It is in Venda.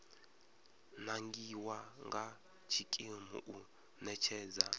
nangiwa nga tshikimu u ṋetshedza